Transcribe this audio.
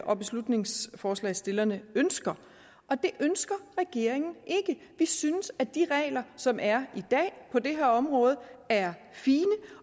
og beslutningsforslagsstillerne ønsker og det ønsker regeringen ikke vi synes at de regler som er i dag på det her område er fine